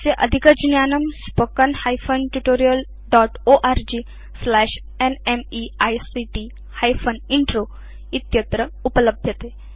अस्य अधिकज्ञानम् spoken hyphen tutorial dotओर्ग स्लैश न्मेइक्ट हाइफेन इन्त्रो इत्यत्र उपलभ्यते